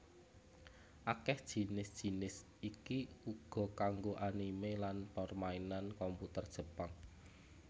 Akèh jinis jinis iki uga kanggo anime lan permainan komputer Jepang